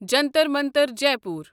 Jantar Mantar Jaipur